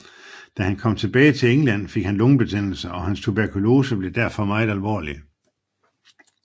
Da han kom tilbage til England fik han lungebetændelse og hans tuberkulose blev derfor meget alvorlig